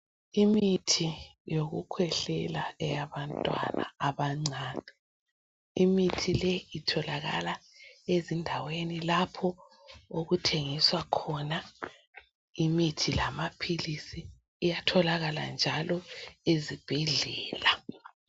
Imithi yokukhwehlela eyabantwana abancane imithi le itholakala ezindaweni lapho okuthengiswa khona imithi lamaphilisi iyatholakala njalo ezibhedlela.